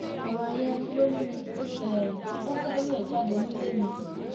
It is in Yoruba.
ọrọ yẹn ló mú um kó kẹrù ẹ jáde nílé mi